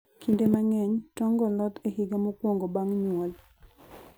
Kinde mang'eny, tong'go loth e higa mokwongo bang' nyuol.